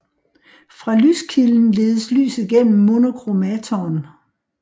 Fra lyskilden ledes lyset gennem monochromatoren